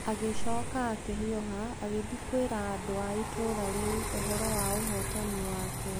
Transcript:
Agĩcoka akĩhiũha agĩthiĩ kwĩra andũ a itũũra rĩu ũhoro wa ũhootani wake.